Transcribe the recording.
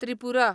Tripura